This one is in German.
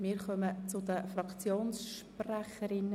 Wir kommen zu den Fraktionssprechern.